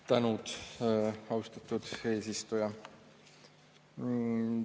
Tänud, austatud eesistuja!